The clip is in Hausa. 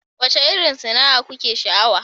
Wacce irin sana'a kuke sha'awa?